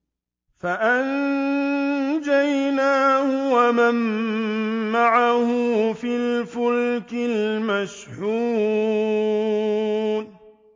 فَأَنجَيْنَاهُ وَمَن مَّعَهُ فِي الْفُلْكِ الْمَشْحُونِ